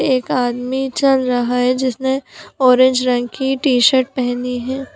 एक आदमी चल रहा है जिसने ऑरेंज रंग की टी-शर्ट पहनी है।